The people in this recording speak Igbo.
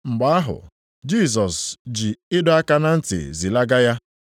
Mgbe ahụ, Jisọs ji ịdọ aka na ntị zilaga ya,